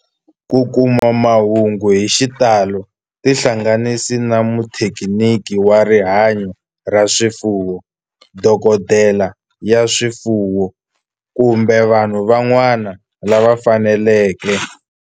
Ku kuma mahungu hi xitalo tihlanganisi na muthekiniki wa rihanyo ra swifuwo, dokodela ya swifuwo, kumbe vanhu van'wana lava fanelekeke.